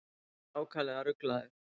Ég var ákaflega ruglaður.